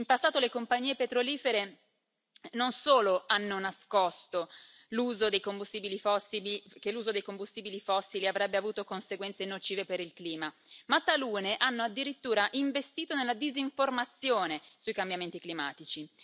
In passato le compagnie petrolifere non solo hanno nascosto che l'uso dei combustibili fossili avrebbe avuto conseguenze nocive per il clima, ma talune hanno addirittura investito nella disinformazione sui cambiamenti climatici.